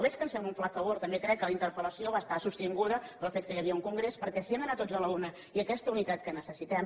veig que ens fem un flac favor també crec que la interpel·lació va estar sostinguda pel fet que hi havia un congrés perquè si hem d’anar tots a la una i aques·ta unitat que necessitem